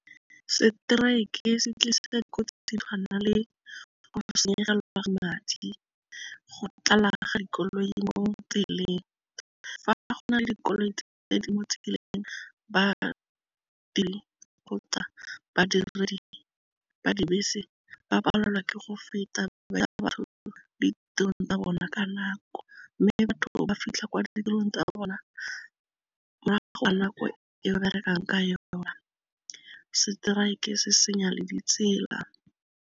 Strike se tlisa dikotsi se tshwana le go senyega madi, go tlala ga dikoloi mo tseleng, fa go na le dikoloi badiredi ba dibese ba palelwa ke go feta ditirong tsa bona ka nako, mme batho ba fitlha kwa ditirong tsa bona morago ga nako e ba berekang ka yona, strike se senya le ditsela.